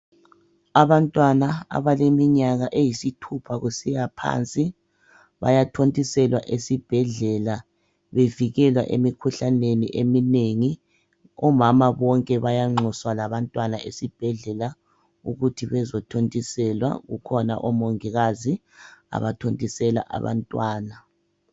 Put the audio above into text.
Abantwana abaleminyaka eyisithupha kusiya phansi bayathontiselwa esibhedlela bevikelwa emikhuhlaneni eminengi. Omama bonke bayanxuswa labantwana esibhedlela ukuthi bezothontiselwa kukhona omongikazi abathontisela abantwana.